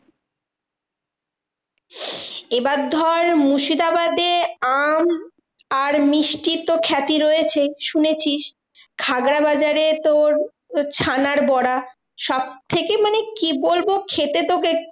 এবার ধর মুর্শিদাবাদের আম আর মিষ্টির তো খ্যাতি রয়েছেই শুনেছিস। খাজাবাজারে তোর ছানার বড়া সবথেকে মানে কি বলবো? খেতে তো testy